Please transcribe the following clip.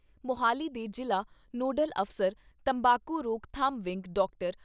ਮੁਹਾਲੀ ਦੇ ਜ਼ਿਲ੍ਹਾ ਨੋਡਲ ਅਫ਼ਸਰ, ਤੰਬਾਕੂ ਰੋਕਥਾਮ ਵਿੰਗ, ਡਾਕਟਰ